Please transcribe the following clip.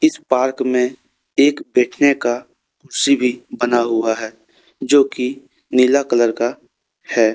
इस पार्क में एक बैठने का कुर्सी भी बना है जो की नीला कलर का है।